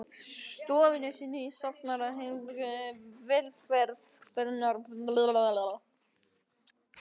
stofunni sinni í safnaðarheimilinu, velferð hennar var honum hugleikin.